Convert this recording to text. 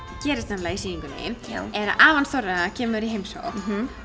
gerist nefnilega í sýningunni er að afi Þorra kemur í heimsókn